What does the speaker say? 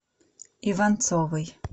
иванцовой